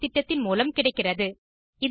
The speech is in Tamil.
இது குறித்த மேலதிக தகவல்களுக்கு இங்கே பார்க்கவும்